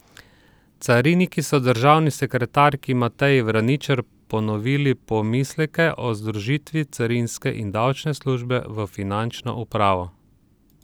Cariniki so državni sekretarki Mateji Vraničar ponovili pomisleke o združitvi carinske in davčne službe v finančno upravo.